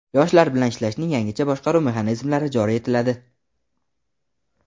Yoshlar bilan ishlashning yangicha boshqaruv mexanizmlari joriy etiladi.